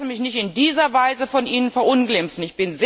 Ich lasse mich nicht in dieser Weise von Ihnen verunglimpfen.